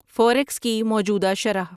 forex کی موجودہ شرح